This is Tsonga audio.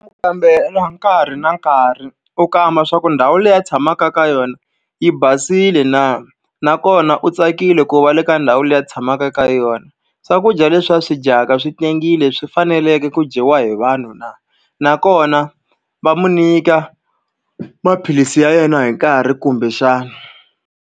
Ku kambela nkarhi na nkarhi, u kamba leswaku ndhawu leyi a tshamaka ka yona yi basile na. Nakona u tsakile ku va le ka ndhawu leyi a tshamaka eka yona. Swakudya leswi a swi dyaka swi tengile, swi fanerile ku dyiwa hi vanhu na. Nakona va n'wi nyika maphilisi ya yena hi nkarhi kumbexana.